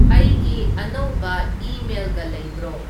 ꯑꯩꯒꯤ ꯑꯅꯧꯕ ꯏꯃꯦꯜꯒ ꯂꯩꯕ꯭ꯔꯣ